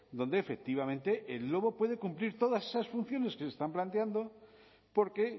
donde efectivamente el lobo puede cumplir todas esas funciones que se están planteando porque